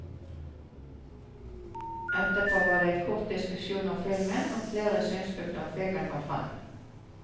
Etterpå var det en kort diskusjon om filmen, og flere synspunkter om filmen kom fram.